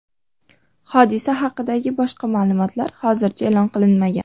Hodisa haqidagi boshqa ma’lumotlar hozircha e’lon qilinmagan.